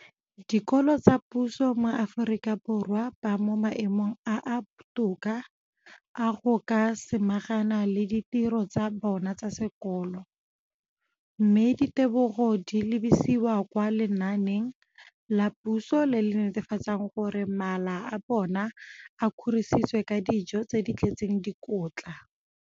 Dikolo tsa puso mo Aforika Borwa ba mo maemong a a botoka a go ka samagana le ditiro tsa bona tsa sekolo, mme ditebogo di lebisiwa kwa lenaaneng la puso le le netefatsang gore mala a bona a kgorisitswe ka dijo tse di tletseng dikotla.